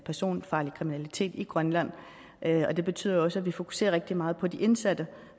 personfarlig kriminalitet i grønland og det betyder også at vi fokuserer rigtig meget på de indsatte